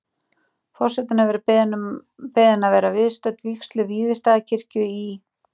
Forseti hefur verið beðin að vera viðstödd vígslu Víðistaðakirkju í